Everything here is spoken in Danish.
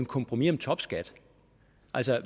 kompromis om topskatten